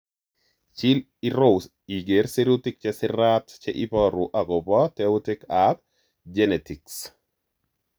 Chil irou iger sirutik che sirat che iporu agopo teoutik ap genetics.